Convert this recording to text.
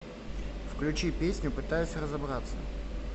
включи песню пытаюсь разобраться